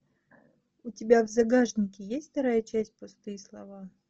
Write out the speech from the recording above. у тебя в загашнике есть вторая часть пустые слова